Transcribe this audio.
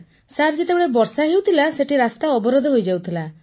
sir ଯେତେବେଳେ ବର୍ଷା ହେଉଥିଲା ସେଠି ରାସ୍ତା ଅବରୋଧ ହୋଇଯାଉଥିଲା